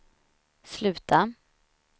sluta